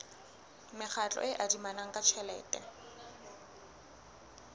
mekgatlo e adimanang ka tjhelete